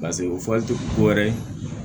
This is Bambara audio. Paseke o fɔli tɛ ko wɛrɛ ye